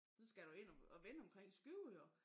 Så skal du ind og vende omkring Skive jo